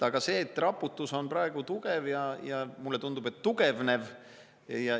Aga raputus on praegu tugev ja mulle tundub, et tugevnev.